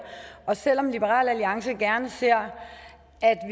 og selv om liberal alliance gerne ser